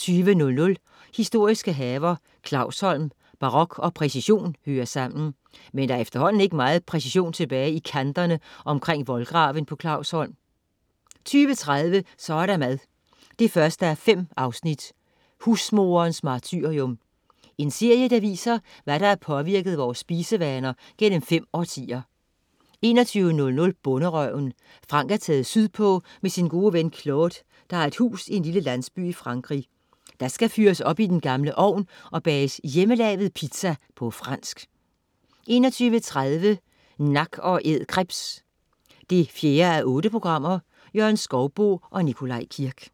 20.00 Historiske haver. Clausholm. Barok og præcision hører sammen. Men der er efterhånden ikke meget præcision tilbage i kanterne omkring voldgraven på Clausholm 20.30 Så er der mad 1:5. Husmoderens martyrium. En serie der viser, hvad der har påvirket vores spisevaner gennem fem årtier 21.00 Bonderøven. Frank er taget sydpå med sin gode ven Claude, der har et hus i en lille landsby i Frankrig. Der skal fyres op i den gamle ovn og bages hjemmelavet pizza på fransk 21.30 Nak & Æd krebs 4:8. Jørgen Skouboe og Nikolaj Kirk